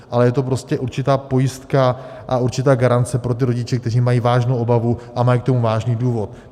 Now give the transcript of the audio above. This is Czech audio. Ale je to prostě určitá pojistka a určitá garance pro ty rodiče, kteří mají vážnou obavu a mají k tomu vážný důvod.